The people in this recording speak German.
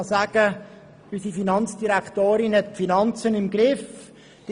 Man kann sagen, dass unsere Finanzdirektorin die Finanzen im Griff hat.